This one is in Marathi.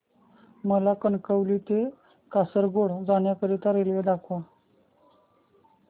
मला कणकवली ते कासारगोड जाण्या करीता रेल्वे दाखवा